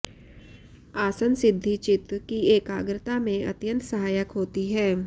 आसन सिद्धि चित्त की एकाग्रता में अत्यंत सहायक होती है